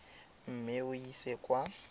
mme o e ise kwa